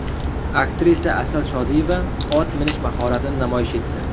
Aktrisa Asal Shodiyeva ot minish mahoratini namoyish etdi.